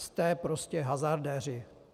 Jste prostě hazardéři.